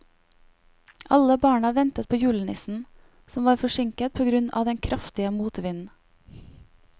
Alle barna ventet på julenissen, som var forsinket på grunn av den kraftige motvinden.